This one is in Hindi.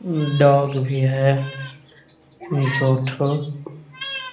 डॉग भी है दो ठो --